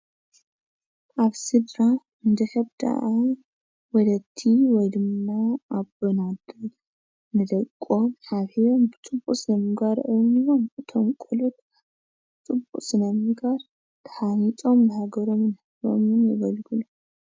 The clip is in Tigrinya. ኣብ ስድራ እንድሕር ደኣ ወለዲ ወይ ድማ ኣቦን ኣዶን ንደቆም ሓብሒቦም ብፅቡቕ ስነ-ምግባር እዕብየምዎም እቶም ቆልዑ ፅቡቕ ስነ-ምግባር ተሃኒፆም ንሃገሮምን ንህዝቦምን የገልግሉ፡፡